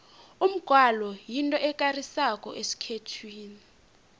umgwalo yinto ekarisako esikhethwini